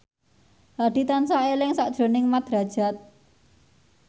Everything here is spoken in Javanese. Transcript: Hadi tansah eling sakjroning Mat Drajat